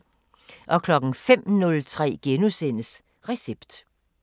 05:03: Recept *